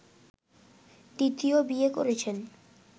দ্বিতীয় বিয়ে করেছেন